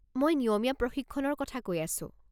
মই নিয়মীয়া প্ৰশিক্ষণৰ কথা কৈ আছো।